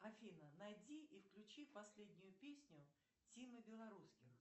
афина найди и включи последнюю песню тимы белорусских